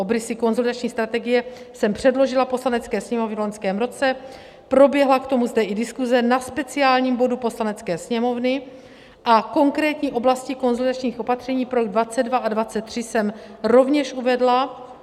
Obrysy konsolidační strategie jsem předložila Poslanecké sněmovně v loňském roce, proběhla k tomu zde i diskuse na speciálním bodu Poslanecké sněmovny a konkrétní oblasti konsolidačních opatření pro rok 2022 a 2023 jsem rovněž uvedla.